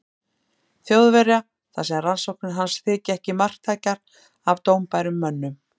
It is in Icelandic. Þjóðverja, þar sem rannsóknir hans þykja ekki marktækar af dómbærum mönnum.